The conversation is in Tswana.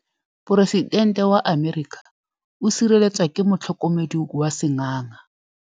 Poresitêntê wa Amerika o sireletswa ke motlhokomedi wa sengaga.